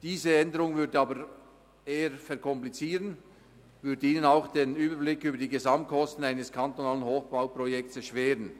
Diese Änderung würde den Vorgang aber eher komplizieren und Ihnen auch den Überblick über die Gesamtkosten eines kantonalen Hochbauprojekts erschweren.